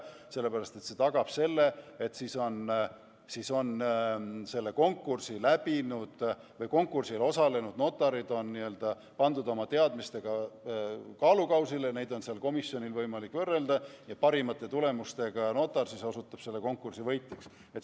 See tagab selle, et siis on konkursil osalenud notarid pandud oma teadmistega kaalukausile, neid on komisjonil võimalik võrrelda ja parimate tulemustega notar osutub konkursi võitjaks.